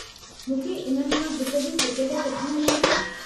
मूंखे इन्हनि मां हिकु जी टिकट किथां मिलंदी ?